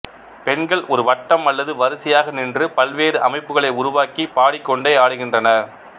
பெண்கள் ஒரு வட்டம் அல்லது வரிசையாக நின்று பல்வேறு அமைப்புக்களை உருவாக்கி பாடிக்கொண்டே ஆடுகின்றனர்